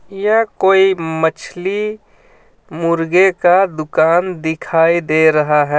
यह कोई मछली मुर्गे का दुकान दिखाई दे रहा हे.